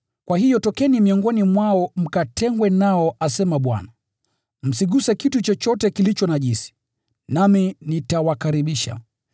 “Kwa hiyo tokeni miongoni mwao, mkatengwe nao, asema Bwana. Msiguse kitu chochote kilicho najisi, nami nitawakaribisha.”